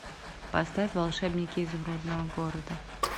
поставь волшебники изумрудного города